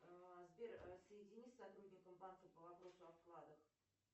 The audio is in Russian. сбер соедини с сотрудником банка по вопросу о вкладах